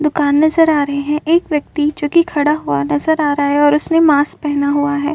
दुकान नज़र आ रही है। एक व्यक्ति जोकि खड़ा हुआ नज़र आ रहा है और उसने मास्क पहना हुआ है।